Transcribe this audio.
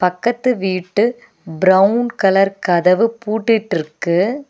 பக்கத்து வீட்டு brown colour கதவு பூட்டிட்ருக்கு.